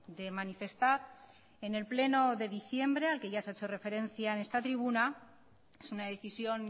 de manifestar en el pleno de diciembre al que ya se ha hecho referencia en esta tribuna es una decisión